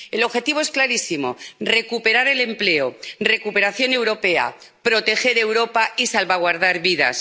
El objetivo es clarísimo recuperar el empleo, recuperación europea, proteger Europa y salvaguardar vidas.